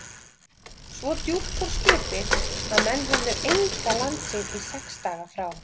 Svo djúpt fór skipið, að menn höfðu enga landsýn í sex daga frá